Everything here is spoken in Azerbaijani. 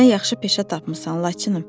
Özünə yaxşı peşə tapmısan, Laçınım.